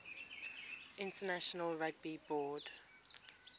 international rugby board